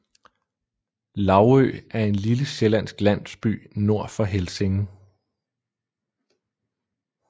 Laugø er en lille sjællandsk landsby nord for Helsinge